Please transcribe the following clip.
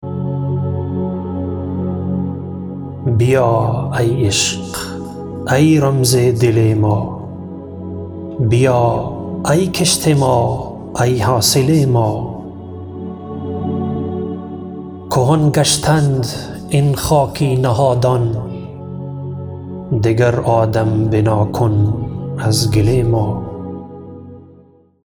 بیا ای عشق ای رمز دل ما بیا ای کشت ما ای حاصل ما کهن گشتند این خاکی نهادان دگر آدم بنا کن از گل ما